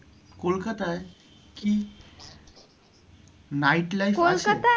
কলকাতায় কি night life আছে?